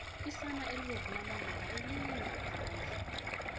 isana elibolu lomalanga aliyingaphandle